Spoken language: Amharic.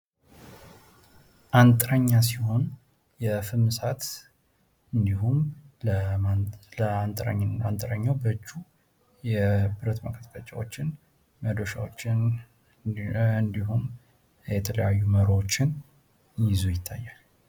አንጥረኛ ሲሆን፤ ፍም እሳት፣ የተለያዩ የብረት መቀጥቀጫዎች እና መዶሻዎሽ የያዘ ሰው እና የተለያዩ መሮዎች ይታያሉ።